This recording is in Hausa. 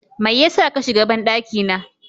Mai yasa kashiga banɗaki na?